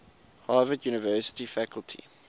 harvard university faculty